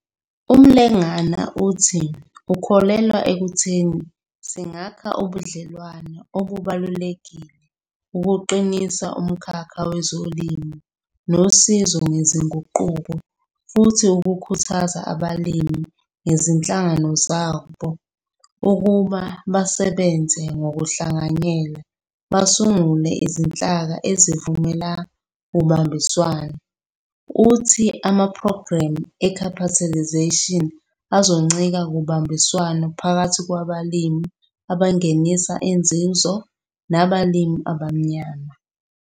UMlengana uthi ukholelwa ekutheni singakha ubudlelwano obubalulekile ukuqinisa umkhakha wezolimo nosizo ngezinguquko futhi ukhuthaza abalimi nezinhlangano zabo ukuba basebenze ngokuhlanganyela basungule izinhlaka ezivumela ubambiswano. Uthi amaphrogramu e-capitalisation azoncika kubambiswano phakathi kwabalimi abangenisa inzuzo nabalimi abamnyama.